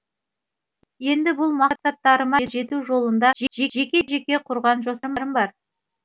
енді бұл мақсаттарыма жету жолында жеке жеке құрған жоспарым бар